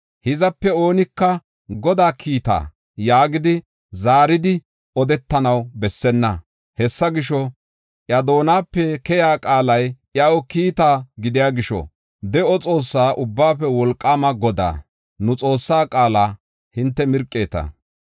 Hizape oonika, ‘Godaa kiita’ yaagidi zaaridi odetanaw bessenna. Hessa gisho, iya doonape keyiya qaalay iyaw kiita gidiya gisho, de7o Xoossaa, Ubbaafe Wolqaama Godaa, nu Xoossaa qaala hinte mirqeeta.